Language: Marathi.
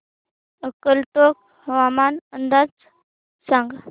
अक्कलकोट हवामान अंदाज सांग